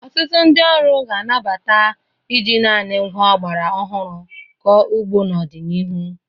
Ọtụtụ ndị ọrụ ga-anabata iji naanị ngwá ọgbara ọhụrụ kọọ ugbo n'ọdịnihu.